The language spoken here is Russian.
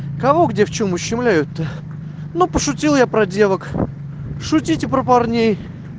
кого где в чем ущемляют ну пошутил я про девок шутите про парней